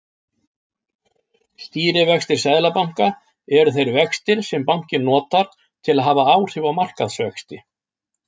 Stýrivextir seðlabanka eru þeir vextir sem bankinn notar til að hafa áhrif á markaðsvexti.